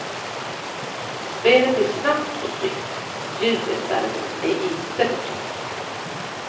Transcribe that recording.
Spelet är snabbt och snyggt, ljudet däremot är inte på topp.